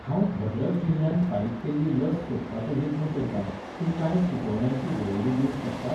हांव भद्रक जिल्ल्यांत फारीक केल्ली लस सोदपाचो यत्न करतां, तूं कांय सुचोवण्यांची वळेरी दिवंक शकता?